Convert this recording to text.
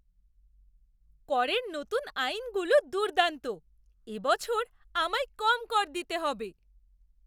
করের নতুন আইনগুলো দুর্দান্ত! এবছর আমায় কম কর দিতে হবে!